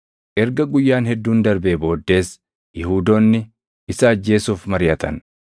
Erga guyyaan hedduun darbee booddees Yihuudoonni isa ajjeesuuf mariʼatan.